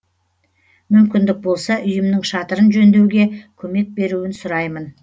мүмкіндік болса үйімнің шатырын жөндеуге көмек беруін сұраймын